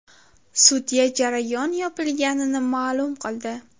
Sudya jarayon yopilganini ma’lum qildi.